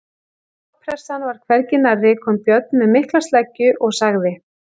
Þegar loftpressan var hvergi nærri kom Björn með mikla sleggju og sagði